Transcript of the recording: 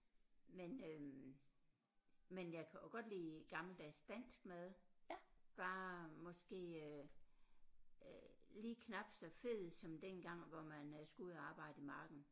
Men øh men jeg kan også godt lide gammeldags dansk mad bare måske øh øh lige knap så fed som dengang hvor man øh skulle ud og arbejde i marken